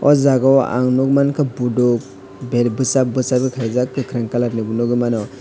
o jaga o ang nog mangka budok berbosak bosag o kaijak kokarang colour ni nogoi mano.